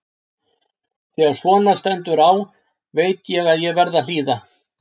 Þegar svona stendur á veit ég að ég verð að hlýða.